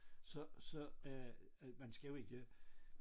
Så så er man skla jo ikke